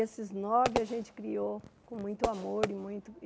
Esses nove a gente criou com muito amor. E muito